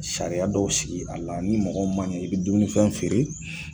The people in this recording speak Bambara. Sariya dɔw sigi a la ni mɔgɔ ma ɲɛ i bi dumunifɛn feere